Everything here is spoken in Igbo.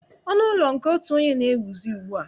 Ọnụ ụlọ nke otu onye na-ewuzi ugbua